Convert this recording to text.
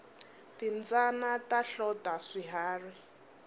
timbyana ta hlota swiharhi